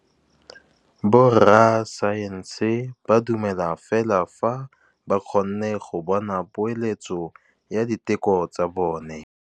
Borra saense ba dumela fela fa ba kgonne go bona poeletsô ya diteko tsa bone.